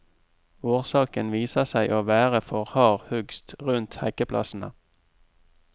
Årsaken viser seg å være for hard hugst rundt hekkeplassene.